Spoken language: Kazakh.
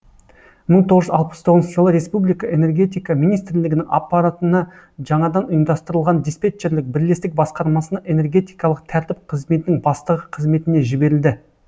мың тоғыз жүз алпыс тоғызыншы жылы республика энергетика министрлігінің аппаратына жаңадан ұйымдастырылған диспетчерлік бірлестік басқармасына энергетикалық тәртіп қызметінің бастығы қызметіне жіберілді